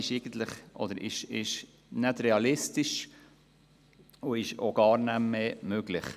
Dies ist nicht realistisch und auch gar nicht mehr möglich.